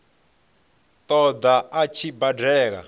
ṱo ḓa a tshi badela